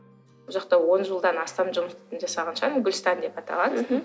ол жақта он жылдан астам жұмыс жасаған шығармын гүлстан деп аталады мхм